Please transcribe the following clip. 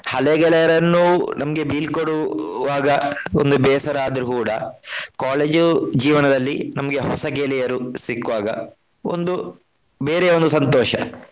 ಹಳೇ ಗೆಳೆಯರನ್ನು ನಮ್ಗೆ ಬೀಳ್ಕೊಡುವಾಗ ಒಂದು ಬೇಸರ ಆದ್ರು ಕೂಡ college ಜೀವನದಲ್ಲಿ ನಮ್ಗೆ ಹೊಸ ಗೆಳೆಯರು ಸಿಕ್ಕುವಾಗ ಒಂದು ಬೇರೆಯೇ ಒಂದು ಸಂತೋಷ.